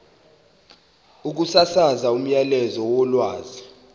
ukusasaza umyalezo wolwazi